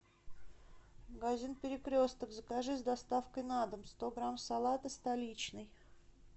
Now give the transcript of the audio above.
магазин перекресток закажи с доставкой на дом сто грамм салата столичный